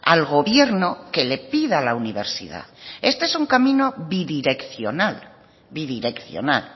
al gobierno que le pida a la universidad este es un camino bidireccional bidireccional